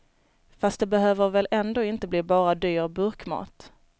Fast det behöver väl ändå inte bli bara dyr burkmat.